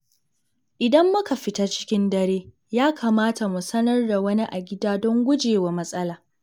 Idan muka fita cikin dare, ya kamata mu sanar da wani a gida don guje wa matsala.